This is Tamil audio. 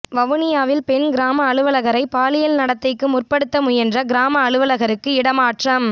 வவுனியாவில் பெண் கிராம அலுவலகரை பாலியல் நடத்தைக்கு முற்படுத்த முயன்ற கிராம அலுவலகருக்கு இடமாற்றம்